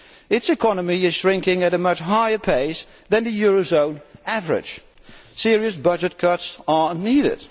Its economy is shrinking at a much higher pace than the eurozone average. Serious budget cuts are needed.